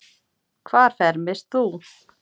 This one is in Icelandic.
Hvar fermist þú?